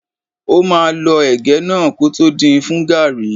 Ó máà lọ ẹ̀gẹ́ náà kótó din fún gàrrí.